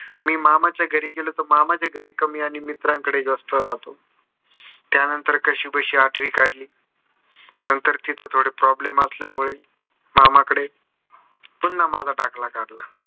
मी मामाच्या घरी गेलो तर मामाच्या घरी कमी आणि मित्रांच्या घरी जास्त राहतो. त्या नंतर कशीबसी आठवी काढली. नंतर तिथे थोडे problem असल्यामुळे मामाकडे पुन्हा माझा दाखला काढला.